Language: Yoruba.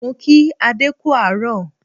Mo kí adé kú àárọ̀